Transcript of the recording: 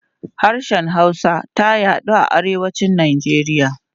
Harshen Hausa ta yaɗu a Arewacin Najeriya.